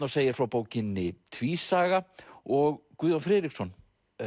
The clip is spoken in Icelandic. og segir frá bókinni tvísaga og Guðjón Friðriksson